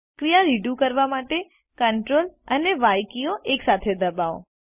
ક્રિયા રીડુ કરવા માટે Ctrl અને ય કીઓ એકસાથે દબાવો